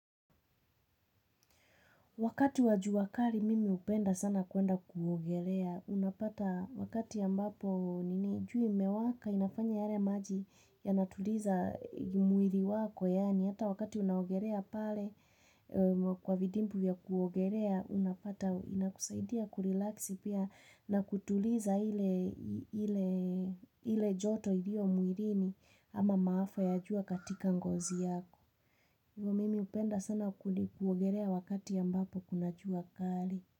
Wakati wa jua kari mimi hupenda sana kwenda kuogelea. Unapata wakati ambapo jua imewaka inafanya yale maji yanatuliza mwiri wako. Yaani hata wakati unaogerea pale kwa vidimbwi vya kuogerea unapata inakusaidia kurilaksi pia na kutuliza ile joto ilio mwirini ama maafa ya jua katika ngozi yako. Mimi hupenda sana kuogerea wakati ambapo kuna jua kari.